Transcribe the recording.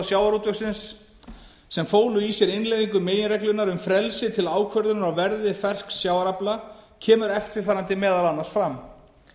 sjávarútvegsins sem fólu í sér innleiðingu meginreglunnar um frelsi til ákvörðunar á verði fersks sjávarafla kemur eftirfarandi meðal annars fram